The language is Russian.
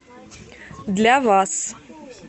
для вас